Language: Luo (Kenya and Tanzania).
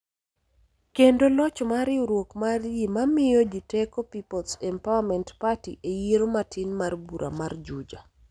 kendo loch mar riwruok mar ji ma miyo ji teko Peoples Empowerment Party e yiero matin mar bura mar Juja